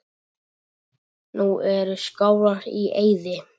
Nú eru Skálar í eyði.